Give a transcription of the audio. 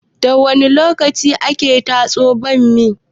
Da wani lokaci ake tatso bammi?